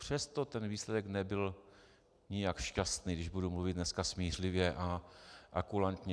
Přesto ten výsledek nebyl nijak šťastný, když budu mluvit dneska smířlivě a kulantně.